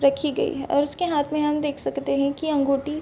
रखी गयी है और उसके हाथ में हम देख सकते हैं की अंगूठी --